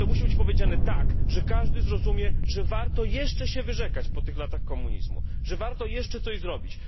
To musi być powiedziane tak, że każdy zrozumie, że warto jeszcze się wyrzekać po tych latach komunizmu, że warto jeszcze coś zrobić.